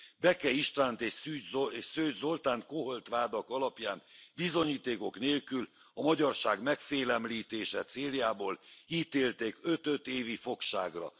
Beke Istvánt és Szőcs Zoltánt koholt vádak alapján, bizonyítékok nélkül, a magyarság megfélemlítése céljából ítélték öt öt évi fogságra.